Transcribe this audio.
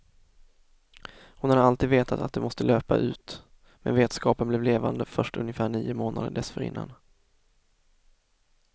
Hon hade alltid vetat att det måste löpa ut, men vetskapen blev levande först ungefär nio månader dessförinnan.